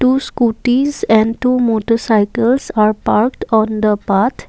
two scootys and two motorcycles are parked on the path.